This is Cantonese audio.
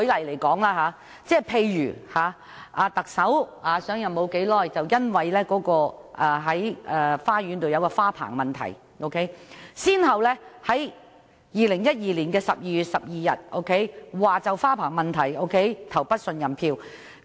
例如，特首上任不久已因家中花園的花棚問題，被反對派在2012年12月12日要求對其投不信任票。